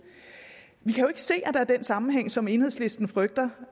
vi kan ikke se at der er den sammenhæng som enhedslisten frygter